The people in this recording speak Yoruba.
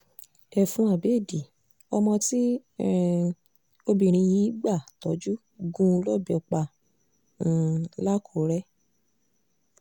ẹ̀fún àbéèdì ọmọ tí um obìnrin yìí gbà tojú gún un lọ́bẹ̀ pa um làkùrẹ́